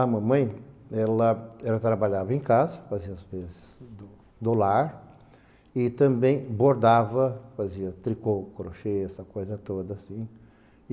A mamãe, ela ela trabalhava em casa, fazia as peças do do lar e também bordava, fazia tricô, crochê, essa coisa toda, assim.